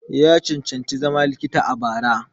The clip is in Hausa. Ya cancanci zama likita a bara.